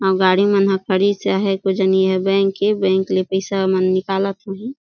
अऊ गाड़ी मन ह खड़िस आहै को जनि एहा बेंक ए बेंक ले पइसा ओमन निकालत होहीं।